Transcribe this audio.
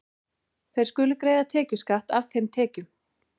Þeir skulu greiða tekjuskatt af þeim tekjum.